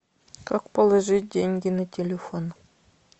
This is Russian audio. как положить деньги на телефон